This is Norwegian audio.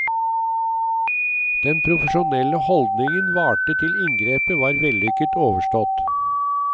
Den profesjonelle holdningen varte til inngrepet var vellykket overstått.